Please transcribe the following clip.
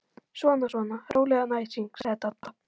Svona svona, rólegan æsing sagði Dadda.